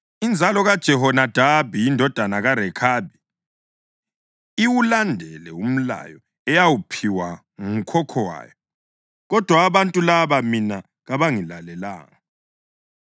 Inzalo kaJehonadabi indodana kaRekhabi iwulandele umlayo eyawuphiwa ngukhokho wayo, kodwa abantu laba mina kabangilalelanga.’